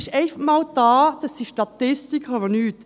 Das sind Statistiken und sonst nichts.